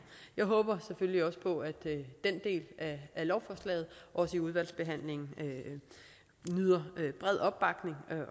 jeg håber selvfølgelig også på at den del af lovforslaget i udvalgsbehandlingen nyder bred opbakning